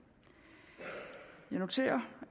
jeg noterer